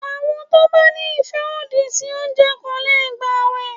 Àwọn tó bá ní ìfẹ́ òdì sí oúnjẹ kò lè gbàwẹ̀.